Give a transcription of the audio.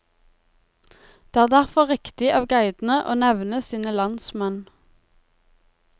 Det er derfor riktig av guidene å nevne sine landsmenn.